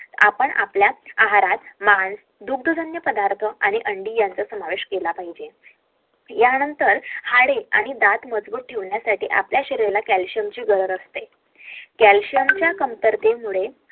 आपण आपल्या आहारात मासे दुग्धजन्य पदार्थ आणि अंडी यांचा समावेश केला पाहिजे या नंतर हाडे आणि दात मजबूत ठेवण्यासाठी आपल्या शरीराला calcium ची गरज असते calcium च्या कमतरतेमुळे